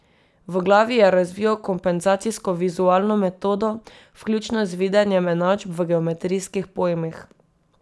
V glavi je razvijal kompenzacijsko vizualno metodo, vključno z videnjem enačb v geometrijskih pojmih.